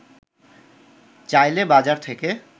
চাইলে বাজার থেকে